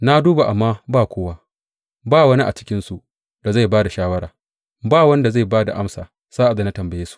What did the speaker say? Na duba amma ba kowa ba wani a cikinsu da zai ba da shawara, ba wani da zai ba da amsa sa’ad da na tambaye su.